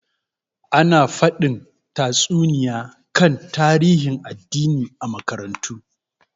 Ana fadin tatsuniya kan tarihin addini a makarantu.